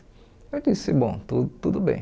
Eu disse, bom, tu tudo bem.